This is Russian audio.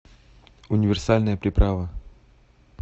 универсальная приправа